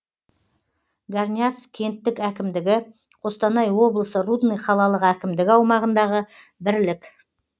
горняцк кенттік әкімдігі қостанай облысы рудный қалалық әкімдігі аумағындағы бірлік